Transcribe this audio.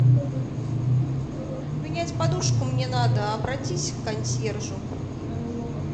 поменять подушку мне надо обратись к консьержу